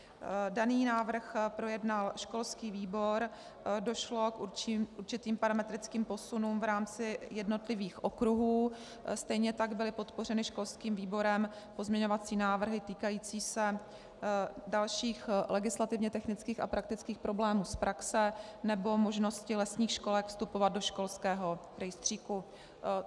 Daný návrh projednal školský výbor, došlo k určitým parametrickým posunům v rámci jednotlivých okruhů, stejně tak byly podpořeny školským výborem pozměňovací návrhy týkající se dalších legislativně technických a praktických problémů z praxe nebo možnosti lesních školek vstupovat do školského rejstříku.